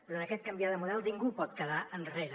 però en aquest canviar de model ningú pot quedar enrere